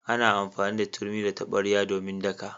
Ana amfani da turmi da tabarya domin daka.